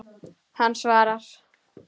Hann svarar.